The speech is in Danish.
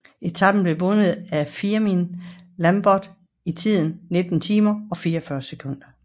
Etapen blev vundet af Firmin Lambot i tiden 19 timer og 44 sekunder